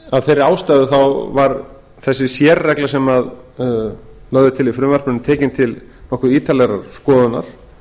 af þeirri ástæðu varð þessi sérregla sem lögð er til í frumvarpinu tekin til nokkuð ítarlegrar skoðunar